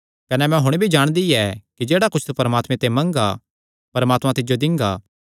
कने मैं हुण भी जाणदी कि जेह्ड़ा कुच्छ तू परमात्मे ते मंगगा परमात्मा तिज्जो दिंगा